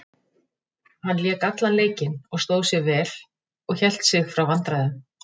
Hann lék allan leikinn og stóð sig vel og hélt sig frá vandræðum.